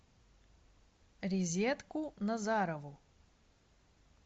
резедку назарову